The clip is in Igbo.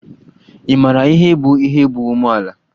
Ị mara ihe bụ ihe bụ umeala?